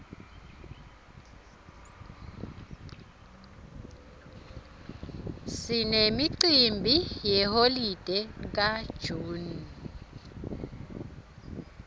sinemcimbi yeholide ka june